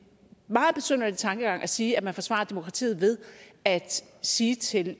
meget besynderlig tankegang at sige at man forsvarer demokratiet ved at sige til